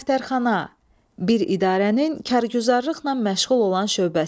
Dəftərxana, bir idarənin kargüzarlıqla məşğul olan şöbəsi.